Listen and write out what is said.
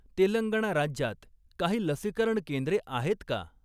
तेलंगणा राज्यात काही लसीकरण केंद्रे आहेत का?